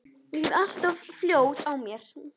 Ég er alltaf of fljót á mér.